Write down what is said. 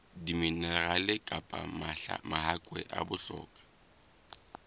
diminerale kapa mahakwe a bohlokwa